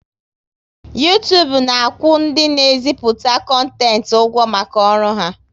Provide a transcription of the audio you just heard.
Uytubu na akwụ ndị na e ziputa kontent ụgwọ maka ọrụ ha